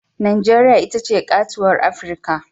Najeriya ita ce katuwar Afirka.